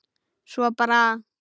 Svo bara.